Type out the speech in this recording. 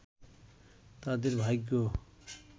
তাদের ভাগ্য